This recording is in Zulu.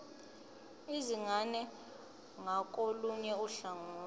izingane ngakolunye uhlangothi